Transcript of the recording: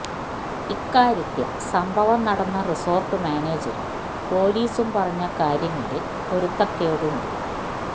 ഇക്കാര്യത്തിൽ സംഭവം നടന്ന റിസോർട്ട് മാനേജറും പൊലീസും പറഞ്ഞ കാര്യങ്ങളിൽ പൊരുത്തക്കേടുണ്ട്